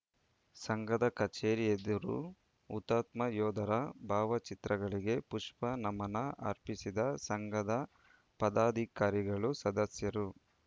ಸಂಘದ ಕಚೇರಿ ಎದುರು ಹುತಾತ್ಮ ಯೋಧರ ಭಾವಚಿತ್ರಗಳಿಗೆ ಪುಷ್ಪ ನಮನ ಅರ್ಪಿಸಿದ ಸಂಘದ ಪದಾಧಿಕಾರಿಗಳು ಸದಸ್ಯರು